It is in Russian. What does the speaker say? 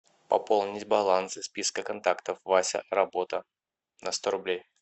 пополнить баланс из списка контактов вася работа на сто рублей